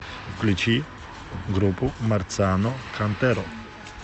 включи группу марциано кантеро